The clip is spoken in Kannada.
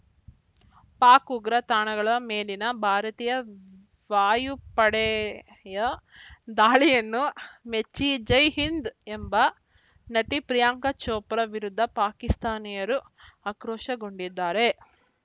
ಪಾಕ್‌ ಉಗ್ರ ತಾಣಗಳ ಮೇಲಿನ ಭಾರತೀಯ ವಾಯುಪಡೆಯ ದಾಳಿಯನ್ನು ಮೆಚ್ಚಿ ಜೈಹಿಂದ್‌ ಎಂಬ ನಟಿ ಪ್ರಿಯಾಂಕಾ ಚೋಪ್ರಾ ವಿರುದ್ಧ ಪಾಕಿಸ್ತಾನಿಯರು ಆಕ್ರೋಶಗೊಂಡಿದ್ದಾರೆ